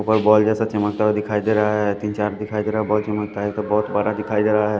ऊपर बॉल जैसा चमकता हुआ दिखाई दे रहा है तीन चार दिखाई दे रहा बॉल चमकता है तो बहोत बड़ा दिखाई दे रहा है।